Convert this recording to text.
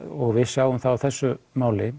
og við sjáum það á þessu máli